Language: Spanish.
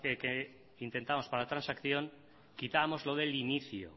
que intentamos para la transacción quitábamos lo del inicio